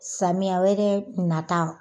Samiyɛ wɛrɛ nata